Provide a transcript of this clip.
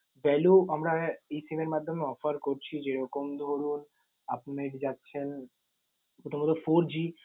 value আমরা এই SIM এর মাধ্যমে offer করছি। যেরকম ধরুন, আপনি যাচ্ছেন কোথাও হয়তো fourG